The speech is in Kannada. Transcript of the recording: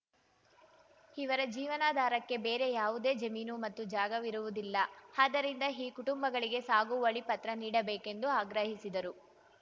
ಇವರ ಜೀವನಾಧಾರಕ್ಕೆ ಬೇರೆ ಯಾವುದೇ ಜಮೀನು ಮತ್ತು ಜಾಗವಿರುವುದಿಲ್ಲ ಆದ್ದರಿಂದ ಈ ಕುಟುಂಬಗಳಿಗೆ ಸಾಗುವಳಿ ಪತ್ರ ನೀಡಬೇಕೆಂದು ಆಗ್ರಹಿಸಿದರು